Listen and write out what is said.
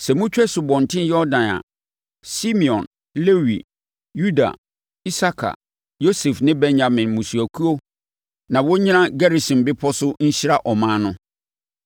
Sɛ motwa Asubɔnten Yordan a, Simeon, Lewi, Yuda, Isakar, Yosef ne Benyamin mmusuakuo na wɔnnyina Gerisim bepɔ so nhyira ɔman no.